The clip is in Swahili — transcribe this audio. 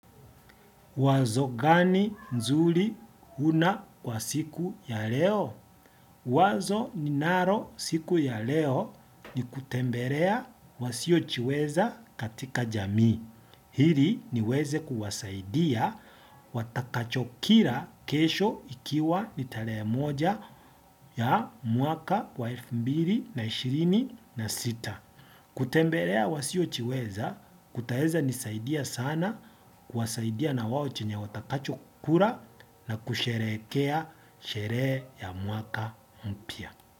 Wazo gani nzuri una kwa siku ya leo? Wazo ni nalo siku ya leo ni kutembelea wasiojiweza katika jamii. Ili ni weze kuwasaidia watakachokila kesho ikiwa nitarehe moja ya mwaka wa elfu mbili na ishirini na sita, kutembelea wasiojiweza, kutaeza nisaidia sana, kwasaidia na wao chenye watakachokula na kusherehekea, sheree ya mwaka mpya.